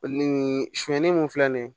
sonyɛnni min filɛ nin ye